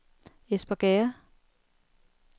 Espergærde